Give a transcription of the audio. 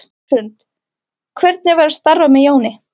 Hrund: Hvernig var að starfa með Jóni?